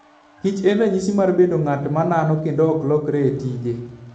kich en ranyisi maber mar bedo ng'at ma nano kendo ma ok lokre e tije.